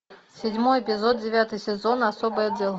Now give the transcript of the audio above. седьмой эпизод девятый сезон особый отдел